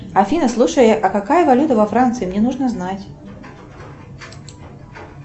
афина слушай а какая валюта во франции мне нужно знать